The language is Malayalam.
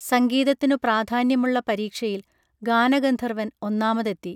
സംഗീതത്തിനു പ്രാധാന്യമുള്ള പരീക്ഷയിൽ ഗാനഗന്ധർവൻ ഒന്നാമതെത്തി